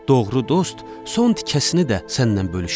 Doğru dost son tikəsini də sənlə bölüşər.